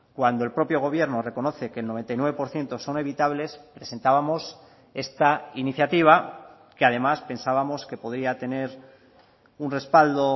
cuando el propio gobierno reconoce que el noventa y nueve por ciento son evitables presentábamos esta iniciativa que además pensábamos que podría tener un respaldo